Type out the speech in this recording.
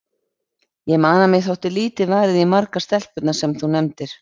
Ég man að mér þótti lítið varið í margar stelpurnar sem þú nefndir.